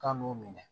K'an m'u minɛ